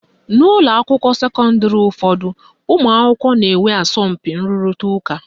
N'ụlọakwụkwọ sekọndịrị ụfọdụ, ụmụakwụkwọ na-enwe asọmpi nrụrịta ụka